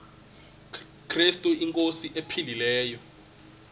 krestu inkosi ephilileyo